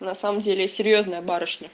на самом деле серьёзная барышня